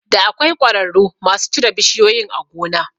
Da akwai ƙwararru masu cire bishiyoyin a gona